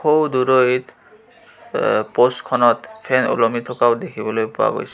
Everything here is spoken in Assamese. সৌ দূৰৈত আ পোষ্ট খনত ফেন ওলমি থকাও দেখিবলৈ পোৱা গৈছে.